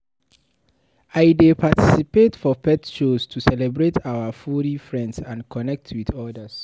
I dey participate for pet shows to celebrate our furry friends and connect with others.